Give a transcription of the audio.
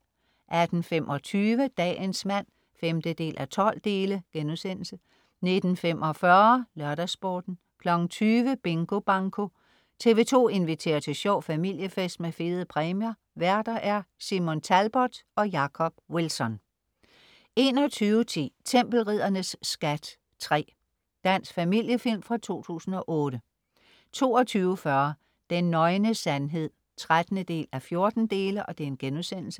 18.25 Dagens mand 5:12* 19.45 LørdagsSporten 20.00 Bingo Banko. TV 2 inviterer til sjov familiefest med fede præmier Værter. Simon Talbot og Jacob Wilson 21.10 Tempelriddernes skat III. Dansk familiefilm fra 2008 22.40 Den nøgne sandhed 13:14*